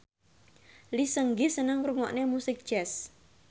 Lee Seung Gi seneng ngrungokne musik jazz